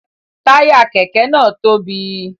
Taya kẹkẹ náà tóbi